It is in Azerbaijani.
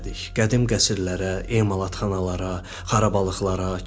Qədim qəsrlərə, emalatxanalara, xarabalıqlara, kilsəyə getdik.